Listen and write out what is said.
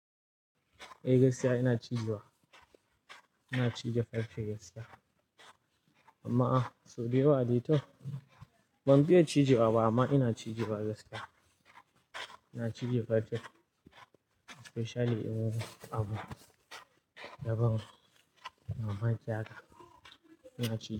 Eh gaskiya ina cije wa, ina cije farce gaskiya. Amma a, so dewa dai toh. Ban fiya cije wa ba amma ina cije wa gaskiya. Ina cije farce, especially in yayi abu daban, amma ki haka ina cije.